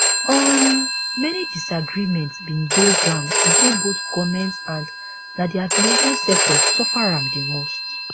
um many disagreements bin dey ground between both goments and na di aviation sector suffer am di most